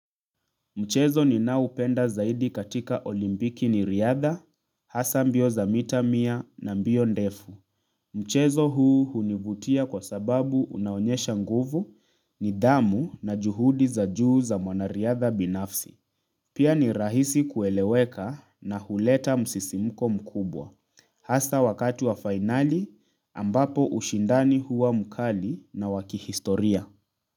Mchezo ninaupenda zaidi katika olimpiki ni riadha, hasa mbio za mita mia na mbio ndefu. Mchezo huu hunivutia kwa sababu unaonyesha nguvu nidhamu na juhudi za juu za mwanariadha binafsi. Pia ni rahisi kueleweka na huleta msisimuko mkubwa. Hasa wakati wa fainali ambapo ushindani huwa mkali na wa kihistoria.